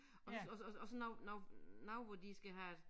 Også også også også noget noget noget hvor de skal have